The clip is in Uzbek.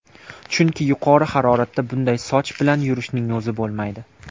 Chunki yuqori haroratda bunday soch bilan yurishning o‘zi bo‘lmaydi.